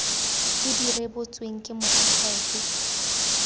tse di rebotsweng ke moakhaefe